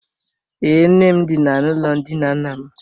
Ee, nne m dina n’ụlọ ndina nna m.